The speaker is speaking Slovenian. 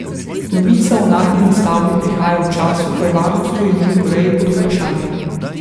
Novica o nagnjeni stavbi prihaja v času, ko je varnost v Južni Koreji pod vprašanjem.